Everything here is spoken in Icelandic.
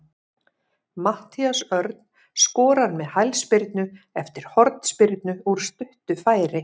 Matthías Örn skorar með hælspyrnu eftir hornspyrnu úr stuttu færi.